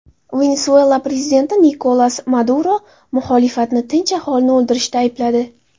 Venesuela prezidenti Nikolas Maduro muxolifatni tinch aholini o‘ldirishda aybladi.